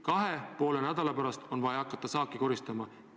Kahe ja poole nädala pärast on vaja hakata saaki koristama.